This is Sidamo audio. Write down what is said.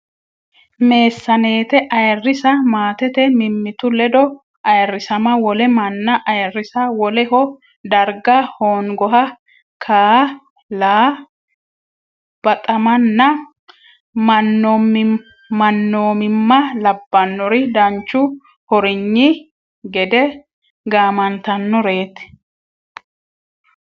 Meessaneete ayirrisa maatete mimmitu ledo ayirrisama wole manna ayirrisa woleho darga hoongoha kaa la baxamanna mannoomimma labbannori danchu hornyi gede gaamantannoreeti.